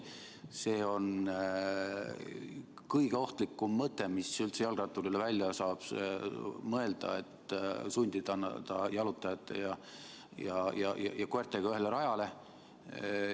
See on kõige ohtlikum mõte, mis üldse jalgratturile välja saab mõelda – sundida ta jalutajate ja koertega ühele rajale.